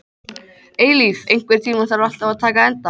Eilíf, einhvern tímann þarf allt að taka enda.